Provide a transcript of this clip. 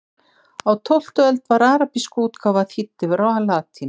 Á tólftu öld var arabísk útgáfa þýdd yfir á latínu.